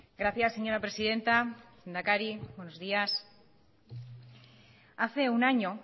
gracias señora presidenta lehendakari buenos días hace un año